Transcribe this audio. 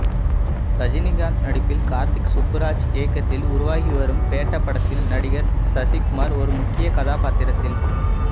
ரஜினிகாந்த் நடிப்பில் கார்த்திக் சுப்புராஜ் இயக்கத்தில் உருவாகி வரும் பேட்ட படத்தில் நடிகர் சசிகுமார் ஒரு முக்கிய கதாபாத்திரத்தில